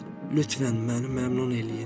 Lütfən, məni məmnun eləyin!